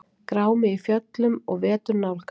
Grámi í fjöllum og vetur nálgast